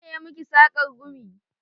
Waye ya miki sakar gumi?